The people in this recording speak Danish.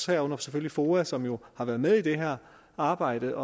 herunder selvfølgelig foa som jo har været med i det her arbejde